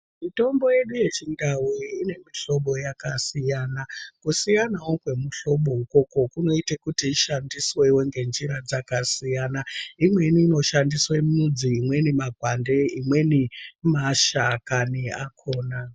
Mitombo yedu yechindau ine mihlobo yakasiyana. Kusiyanawo kwemihlobo ikoko kunoitawo kuti ishandiswe ngenjira dzakasiyana imweni inoshandiswe midzi, imweni makwande imweni mashakani akhona.